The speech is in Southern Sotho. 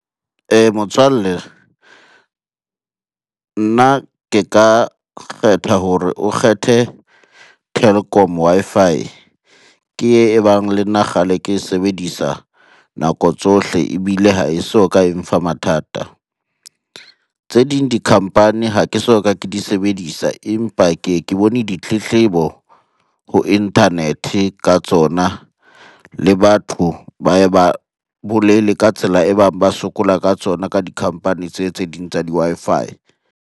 Motswalle nna ke ka kgetha hore o kgethe Telkom Wi-Fi, ke e bang le nna kgale ke sebedisa nako tsohle ebile ha e so ka e mfa mathata. Tse ding di-company ha ke soka ke di sebedisa, empa ke ye ke bone ditletlebo ho internet-e ka tsona, le batho ba ye ba bolele ka tsela e bang ba sokola ka tsona ka di-company tse, tse ding tsa di-Wi-Fi.